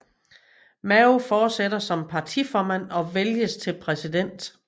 Mao fortsætter som partiformand og vælges til præsident